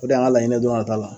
O de y'an ka laɲini ye don nata la.